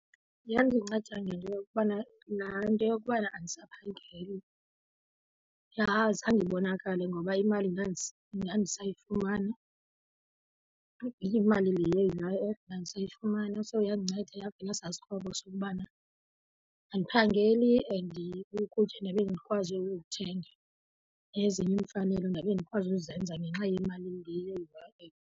Yandinceda ngento yokubana laa nto yokubana andisaphangeli zange ibonakale ngoba imali ndandisayifumana, imali le ndandisayifumana. So yandinceda yavala esaa sikroba sokubana andiphangeli and ukutya ndabe ndikwazi ukuthenga, nezinye iimfanelo ndabe ndikwazi ukuzenza ngenxa yemali le ye-U_I_F.